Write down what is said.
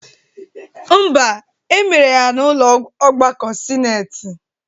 Mba, emere ya n'ụlọ ọgbakọ sineti